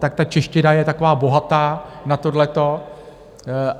Tak ta čeština je taková bohatá na tohleto.